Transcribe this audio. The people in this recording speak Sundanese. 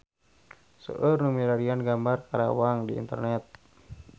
Seueur nu milarian gambar Karawang di internet